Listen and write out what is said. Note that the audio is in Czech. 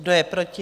Kdo je proti?